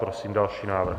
Prosím další návrh.